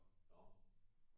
Nå nå